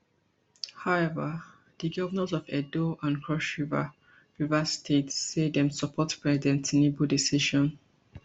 however di govnors of edo and cross river river states say dem support president tinubu decision